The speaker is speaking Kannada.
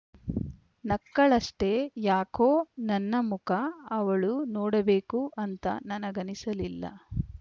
ನಕ್ಕಳಷ್ಟೆ ಯಾಕೋ ನನ್ನ ಮುಖ ಅವಳು ನೋಡಬೇಕು ಅಂತ ನನಗನಿಸಲಿಲ್ಲ